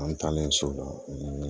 An taalen so la